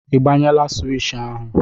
Ị gbanyela swishì ahụ?